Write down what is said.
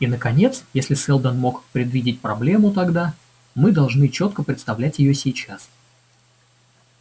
и наконец если сэлдон мог предвидеть проблему тогда мы должны чётко представлять её сейчас